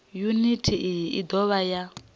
yuniti iyi i dovha ya